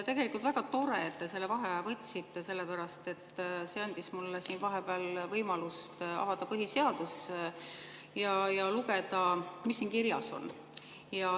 Tegelikult on väga tore, et te selle vaheaja võtsite, sellepärast et see andis mulle vahepeal võimaluse avada põhiseadus ja lugeda, mis siin kirjas on.